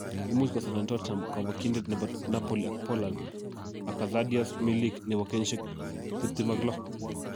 Imuch kosainen Tottenham kobokyindet nebo Napoli ak Poland Arkadiusz Milik, nebo kenyisiek 26